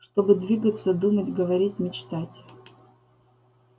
чтобы двигаться думать говорить мечтать